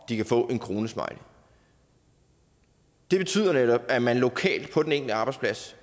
kan få en kronesmiley det betyder netop at man lokalt på den enkelte arbejdsplads